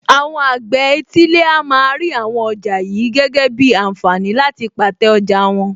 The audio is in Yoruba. Àwọn àgbẹ̀ etílé a máa rí àwọn ọjà yìí gẹ́gẹ́ bíi ànfààní láti pàtẹ́ ọjà wọn.